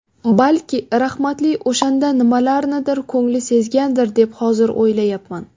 Balki rahmatli o‘shanda nimalarnidir ko‘ngli sezgandir deb hozir o‘ylayapman.